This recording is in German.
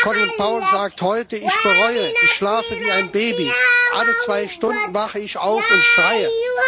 Colin Powell sagt heute Ich bereue, ich schlafe wie ein Baby, alle zwei Stunden wache ich auf und schreie.